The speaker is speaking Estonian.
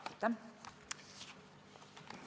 Aitäh!